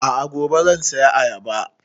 A'a gobe zan saya ayaba